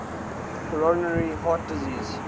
coronary heart disease